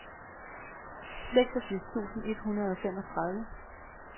seksogfirs tusind et hundrede og femogtredive